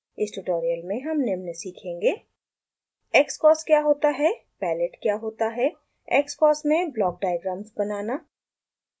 इस ट्यूटोरियल में हम निम्न सीखेंगे: xcos क्या होता है palette क्या होता है xcos में ब्लॉक डायग्राम्स बनाना